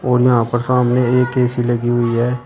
और यहां पर सामने एक ए_सी लगी हुई है।